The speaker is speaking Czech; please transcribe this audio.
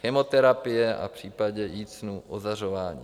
Chemoterapie a v případě jícnu ozařování.